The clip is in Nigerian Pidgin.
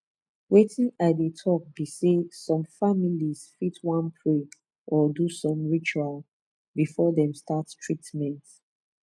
wetin i dey talk be say some families fit wan pray or do some ritual before dem start treatment